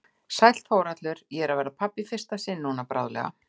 Sæll Þórhallur, ég er að verða pabbi í fyrsta sinn núna bráðlega.